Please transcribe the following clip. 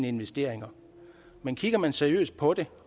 investeringerne men kigger man seriøst på det